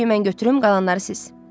Yeşiyi mən götürüm, qalanları siz.